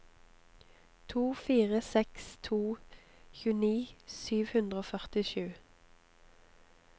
to fire seks to tjueni sju hundre og førtisju